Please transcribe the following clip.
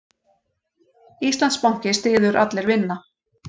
Íslandsbanki styður Allir vinna